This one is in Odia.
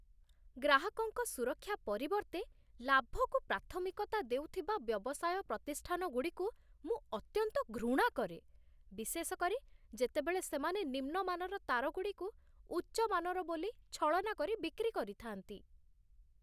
ଗ୍ରାହକଙ୍କ ସୁରକ୍ଷା ପରିବର୍ତ୍ତେ ଲାଭକୁ ପ୍ରାଥମିକତା ଦେଉଥିବା ବ୍ୟବସାୟ ପ୍ରତିଷ୍ଠାନଗୁଡ଼ିକୁ ମୁଁ ଅତ୍ୟନ୍ତ ଘୃଣା କରେ, ବିଶେଷ କରି ଯେତେବେଳେ ସେମାନେ ନିମ୍ନମାନର ତାରଗୁଡ଼ିକୁ ଉଚ୍ଚମାନର ବୋଲି ଛଳନା କରି ବିକ୍ରି କରିଥାନ୍ତି।